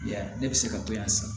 Ya ne bɛ se ka bɔ yan san